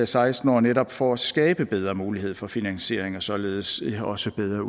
seksten år netop for at skabe bedre mulighed for finansiering og således også bedre